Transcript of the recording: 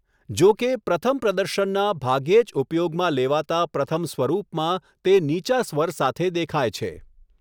જો કે, પ્રથમ પ્રદર્શનના ભાગ્યે જ ઉપયોગમાં લેવાતા પ્રથમ સ્વરૂપમાં તે નીચા સ્વર સાથે દેખાય છે.